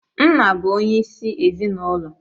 Nna bụ onyeisi ezinụlọ.